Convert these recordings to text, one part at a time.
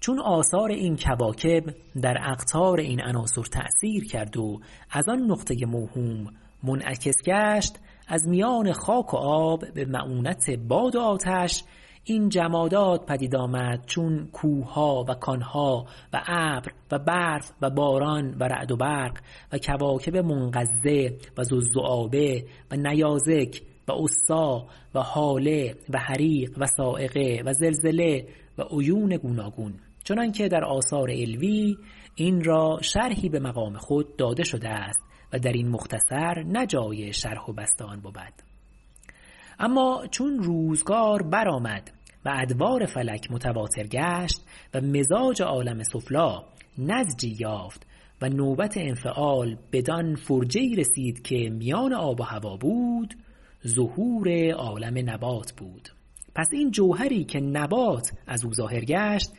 چون آثار این کواکب در اقطار این عناصر تأثیر کرد و از آن نقطه موهوم منعکس گشت از میان خاک و آب بمعونت باد و آتش این جمادات پدید آمد چون کوهها و کان ها و ابر و برف و باران و رعد و برق و کواکب منقضه و ذوالذؤابه و نیازک و عصی و هاله و حریق و صاعقه و زلزله و عیون گوناگون چنانکه در آثار علوی این را شرحی بمقام خود داده شده است و درین مختصر نه جای شرح و بسط آن بود اما چون روزگار برآمد و ادوار فلک متواتر گشت و مزاج عالم سفلی نضجی یافت و نوبت انفعال بدان فرجه ای رسید که میان آب و هوا بود ظهور عالم نبات بود پس این جوهری که نبات ازو ظاهر گشت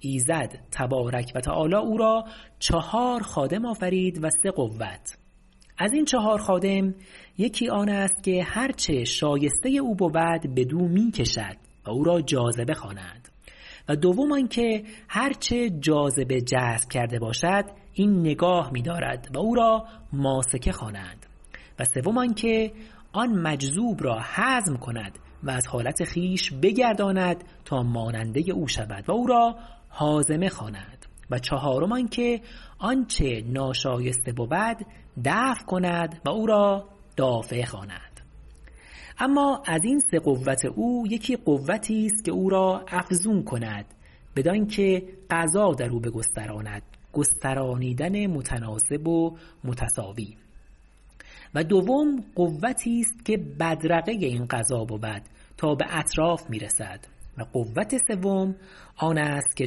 ایزد تبارک و تعالی او را چهار خادم آفرید و سه قوت ازین چهار خادم یکی آنست که هر چه شایسته او بود بدو می کشد و او را جاذبه خوانند و دوم آنکه هر چه جاذبه جذب کرده باشد این نگاه میدارد و او را ماسکه خوانند و سوم آنکه مجذوب را هضم کند و از حالت خویش بگرداند تا ماننده او شود و او را هاضمه خوانند و چهارم آنکه آنچه ناشایسته بود دفع کند و او را دافعه خوانند اما ازین سه قوت او یکی قوتیست که او را افزون کند بدانکه غذا درو بگستراند گسترانیدن متناسب و متساوی و دوم قوتیست که بدرقه این غذا بود تا به اطراف میرسد و قوت سوم آن است که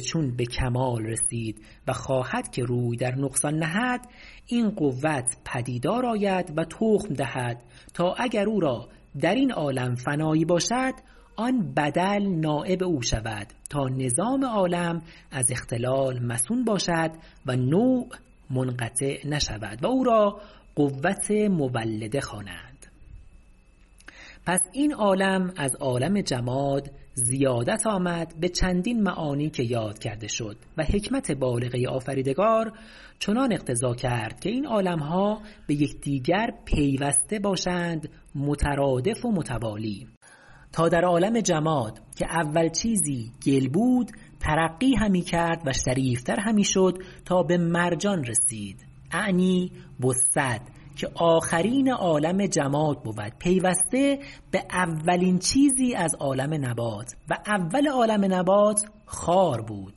چون به کمال رسید و خواهد که روی در نقصان دهد این قوت پدیدار آید و تخم دهد تا اگر او را درین عالم فنایی باشد آن بدل نایب او شود تا نظام عالم از اختلال مصون باشد و نوع منقطع نشود و او را قوت مولده خوانند پس این عالم از عالم جماد زیادت آمد به چندین معانی که یاد کرده شد و حکمت بالغه آفریدگار چنان اقتضا کرد که این عالم ها بیکدیگر پیوسته باشند مترادف و متوالی تا در عالم جماد که اول چیزی گل بود ترقی همی کرد و شریفتر همی شد تا به مرجان رسید -اعنی بسد- که آخرین عالم جماد بود پیوسته به اولین چیزی از عالم نبات و اول عالم نبات خار بود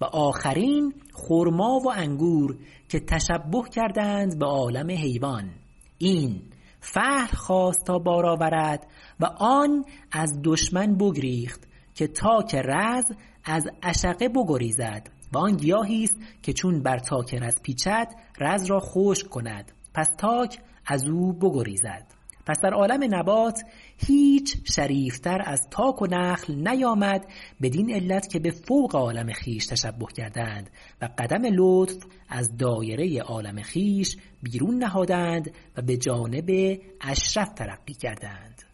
و آخرین خرما و انگور که تشبه کردند به عالم حیوان این فحل خواست تا بار آورد و آن از دشمن بگریخت که تاک رز از عشقه بگریزد و آن گیاهی است که چون بر تاک رز پیچد رز را خشک کند پس تاک ازو بگریزد پس در عالم نبات هیچ شریفتر از تاک و نخل نیامد بدین علت که به فوق عالم خویش تشبه کردند و قدم لطف از دایره عالم خویش بیرون نهادند و به جانب اشرف ترقی کردند